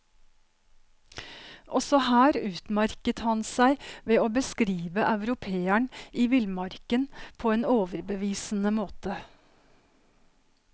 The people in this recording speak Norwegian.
Også her utmerket han seg ved å beskrive europeeren i villmarken på en overbevisende måte.